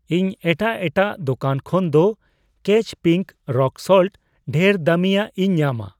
ᱤᱧ ᱮᱴᱟᱜ ᱮᱴᱟᱜ ᱫᱚᱠᱟᱱ ᱠᱷᱚᱱᱫᱚ ᱠᱮᱪ ᱯᱤᱝᱠ ᱨᱚᱠ ᱥᱚᱞᱴ ᱰᱷᱮᱨ ᱫᱟᱹᱢᱤᱭᱟᱜ ᱤᱧ ᱧᱟᱢᱟ ᱾